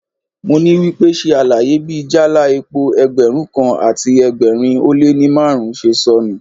Mo ní wípé, ṣe àlàyé bí jáálá epo Ẹgbẹ̀rún kan àti ẹgbẹ̀rin ó lé ní márùn-ún ṣe sọnù.